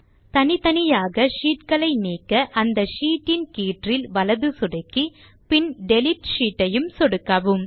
தனித்தனியாக sheetகளை நீக்க அந்த ஷீட்டின் கீற்றில் வலது சொடுக்கி பின் டிலீட் ஷீட் ஐயும் சொடுக்கவும்